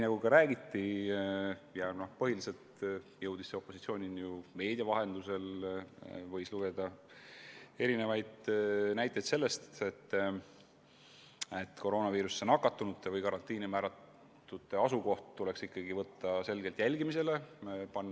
Räägiti – põhiliselt jõudis see opositsioonini meedia vahendusel – ja võis lugeda näiteid selle kohta, kuidas koroonaviirusesse nakatunute või karantiini määratute asukoht tuleks selgelt jälgimise alla võtta.